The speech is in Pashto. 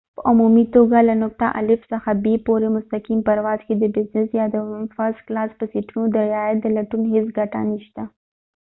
په عمومي توګه له نقطه الف څخه ب پورې مستقیم پرواز کې د بزنس یا د فرسټ کلاس په سیټونو د رعایت د لټون هیڅ ګټه نشته